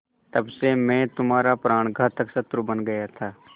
तब से मैं तुम्हारा प्राणघातक शत्रु बन गया था